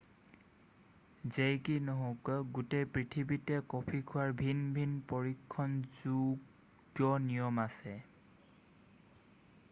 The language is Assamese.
যেই কি নহওক গোটেই পৃথিৱীতে কফি খোৱাৰ ভিন ভিন পৰীক্ষণযোগ্য নিয়ম আছে